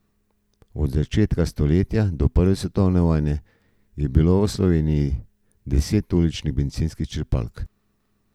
Od začetka stoletja do prve svetovne vojne je bilo v Sloveniji deset uličnih bencinskih črpalk.